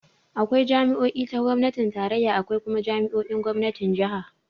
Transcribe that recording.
Akwai jami'o'i ta gomnatin tarayya, akwai kuma jami'o'in gomnatin jiha.